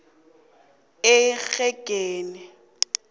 engeqi i r